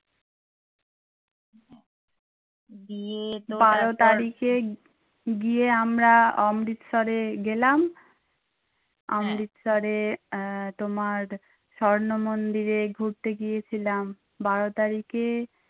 বারো তারিখে গিয়ে আমরা অমৃতসারে গেলাম অমৃতসারে তোমার স্বর্ণ মন্দিরে ঘুরতে গিয়েছিলাম বারো তারিখে